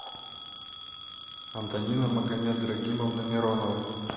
антонина магомедрагимовна миронова